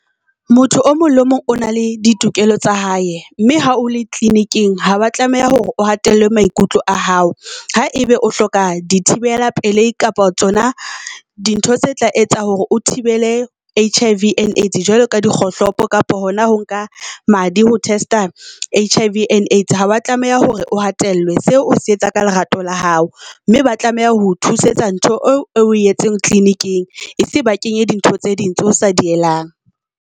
Motho o mong le mong o na le ditokelo tsa hae mme ha o le clinic-eng, hawa tlameha hore o hatella maikutlo a hao. Ha ebe o hloka di thibela pelei kapa tsona di ntho tse tla etsa hore o thibele H_I_V and Aids, jwalo ka dikgohlopo kapa hona ho nka madi, ho test-a H_I_V and Aids. Ha wa tlameha hore o hatellwe seo o se etsa ka lerato la hao mme ba tlameha ho thusetsa ntho eo o etseng clinic-eng. E se ba kenya dintho tse ding tse o sa dielang.